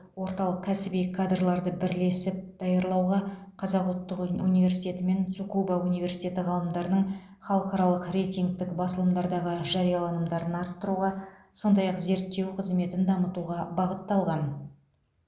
орталық кәсіби кадрларды бірлесіп даярлауға қазақ ұлттық университеті мен цукуба университеті ғалымдарының халықаралық рейтингтік басылымдардағы жарияланымдарын арттыруға сондай ақ зерттеу қызметін дамытуға бағытталған